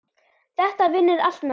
Þetta vinnur allt með okkur.